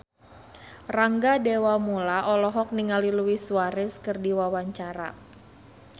Rangga Dewamoela olohok ningali Luis Suarez keur diwawancara